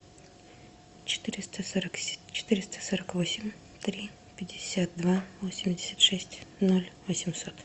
четыреста сорок восемь три пятьдесят два восемьдесят шесть ноль восемьсот